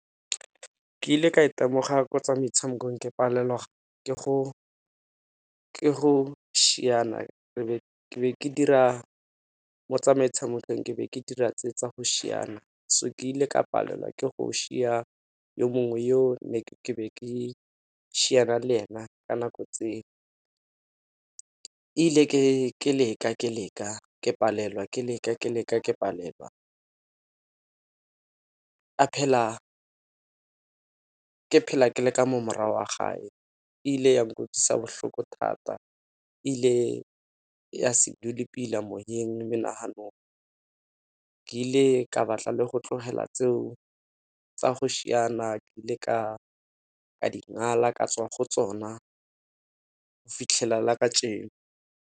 Ke ile ka itemoga ko tsa metshamekong ke palelwa ke go ke go šiana ebe ke dira mo metshamekong ke be ke dira tse tsa go šiana. So ke ile ka palelwa ke go šia yo mongwe yo ne ke be ke šiana lena ka nako tseo. Ile ke leka ke leka ke palelwa ke leke ke leka ke palelwa ke phela ke le ka mo morago ga gage e ile ya nkutlwisa bohloko thata, ile ya se dule pila moyeng, menaganong ke ile ka ba tla le go tlogela tseo tsa go šiana ke ile ka ka dingala ka tswa go tsona go fitlhela la ka .